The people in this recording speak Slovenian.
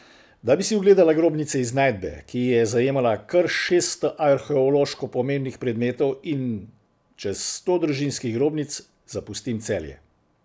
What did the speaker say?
Da bi si ogledala grobnice iz najdbe, ki je zajemala kar šeststo arheološko pomembnih predmetov in čez sto družinskih grobnic, zapustim Celje.